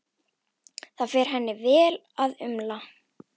Það fer henni vel að umla.